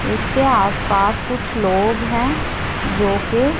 इसके आसपास कुछ लोग हैं जो के--